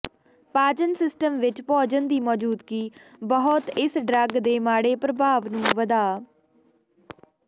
ਪਾਚਨ ਸਿਸਟਮ ਵਿੱਚ ਭੋਜਨ ਦੀ ਮੌਜੂਦਗੀ ਬਹੁਤ ਇਸ ਡਰੱਗ ਦੇ ਮਾੜੇ ਪ੍ਰਭਾਵ ਨੂੰ ਵਧਾ